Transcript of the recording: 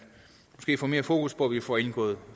får mere fokus på at vi får indgået